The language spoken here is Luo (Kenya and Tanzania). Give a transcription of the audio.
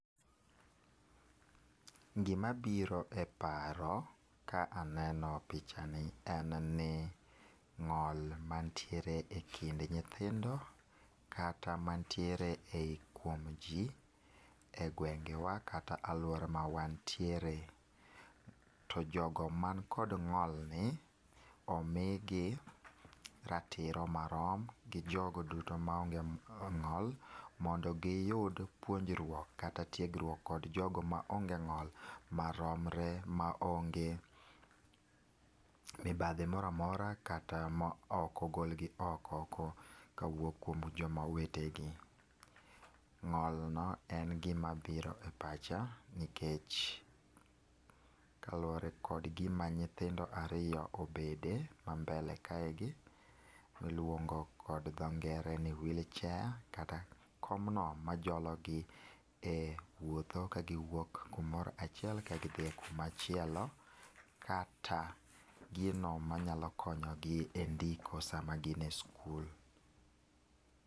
Gi ma biro e paro ka aneno picha ni en ni ng'ol ma nitiere e kind nyithindo kata man tiere e kuom ji e gwengewa kata aluora ma wantiere. To jo go man kod ng'ol ni omi gi ratiro marom gi jo go duto ma onge ng'ol mondo gi yud puonjrok kata tiegruok gi jogo maromre maonge mibadhi moro amora kata ma ok ogol gi oko ka wuok kuom jo ma owete gi. Ng'ol no en gima mabiro e pacha, nikech kaluore kod gi ma nyithindo ariyo obede ma mbele kaegi mi iluongo gi dho ngere ni wheelchair kata komno ma jolo gi e wuotho ka gi wuok kumoro achiel ka gi dhi kumachielo kata gi no ma nya konyo gi e ndiko sa ma gin e skul.